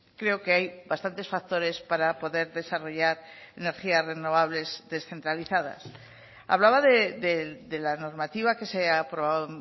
creo que hay bastantes factores para poder desarrollar energías renovables descentralizadas hablaba de la normativa que se ha aprobado